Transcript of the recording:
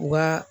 Wa